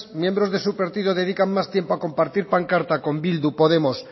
miembros de su partido dedican más tiempo a compartir pancarta con bildu podemos